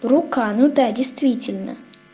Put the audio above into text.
рука ну да действительно